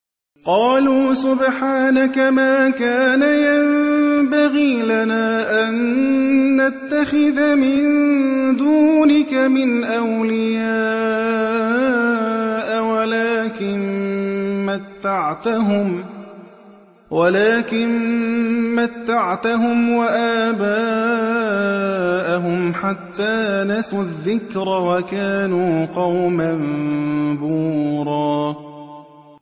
قَالُوا سُبْحَانَكَ مَا كَانَ يَنبَغِي لَنَا أَن نَّتَّخِذَ مِن دُونِكَ مِنْ أَوْلِيَاءَ وَلَٰكِن مَّتَّعْتَهُمْ وَآبَاءَهُمْ حَتَّىٰ نَسُوا الذِّكْرَ وَكَانُوا قَوْمًا بُورًا